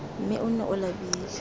mme o nne o labile